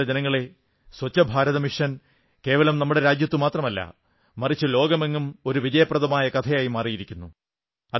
പ്രിയപ്പെട്ട ജനങ്ങളേ സ്വച്ഛഭാരത് മിഷൻ കേവലം നമ്മുടെ രാജ്യത്തു മാത്രമല്ല മറിച്ച് ലോകമെങ്ങും ഒരു വിജയപ്രദമായ കഥയായി മാറിയിരിക്കുന്നു